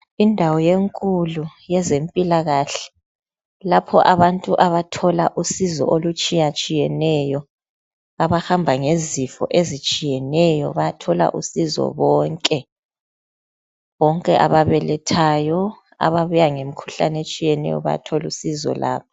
Indawo enkulu yezempilakahle lapho abantu abathola usizo olutshiyetshiyeneyo. Abahamba ngezifo ezitshiyeneyo bayathola usizo bonke, bonke ababelethayo ababuya ngemikhuhlane etshiyeneyo bayathola usizo labo.